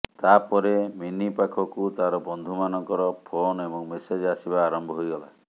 ତାପରେ ମିନି ପାଖକୁ ତାର ବନ୍ଧୁମାନଙ୍କର ଫୋନ ଏବଂ ମେସେଜ୍ ଆସିବା ଆରମ୍ଭ ହୋଇଗଲା